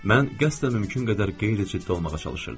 Mən qəsdən mümkün qədər qeyri-ciddi olmağa çalışırdım.